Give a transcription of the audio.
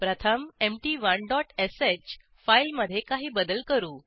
प्रथम empty1श फाईलमधे काही बदल करू